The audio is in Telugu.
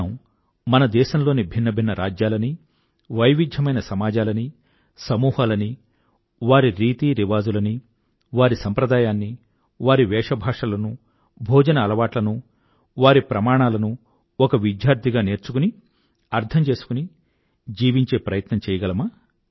మనం మన దేశం లోని భిన్న భిన్న రాజ్యాలని వైవిధ్యమైన సమాజాలనీ సమూహాలనీ వారి రీతిరివాజులనీ వారి సంప్రదాయాన్నీ వారి వేషభాషలనూ భోజన అలవాట్లను వారి ప్రమాణాలను ఒక విద్యార్థిగా నేర్చుకుని అర్థం చేసుకునిజీవించే ప్రయత్నం చెయ్యగలమా